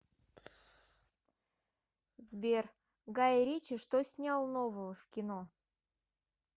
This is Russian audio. сбер гаи ричи что снял нового в кино